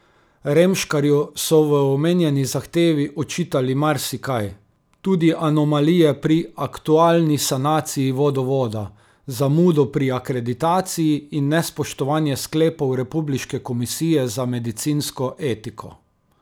Remškarju so v omenjeni zahtevi očitali marsikaj, tudi anomalije pri aktualni sanaciji vodovoda, zamudo pri akreditaciji in nespoštovanje sklepov republiške komisije za medicinsko etiko.